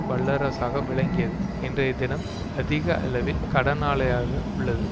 வல்லரசாக விளங்கியது இன்றைய தினம் அதிக அளவில் கடனாளியாக உள்ளது